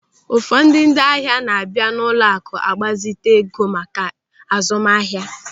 Ụfọdụ ndị ahịa na-abịa n'ụlọaku ịgbazite ego maka azụmahịa.